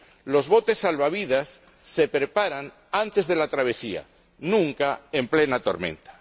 Los botes salvavidas se preparan antes de la travesía, nunca en plena tormenta.